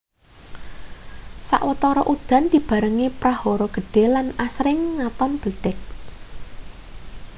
sawetara udan dibarengi prahara gedhe lan asring ngaton bledhek